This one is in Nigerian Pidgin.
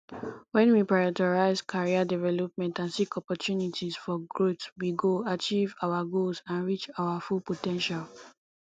when we prioritize career development and seek opportunities for growth we go achieve our goals and reach our full po ten tial